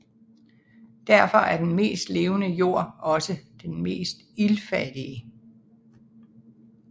Derfor er den mest levende jord også den mest iltfattige